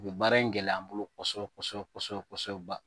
O bɛ baara in gɛlɛya an bolo kɔsɛbɛ kɔsɛbɛ kɔsɛbɛ ba